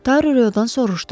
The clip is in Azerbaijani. Taru rayondan soruşdu.